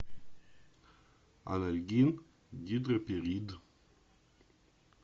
анальгин гидроперит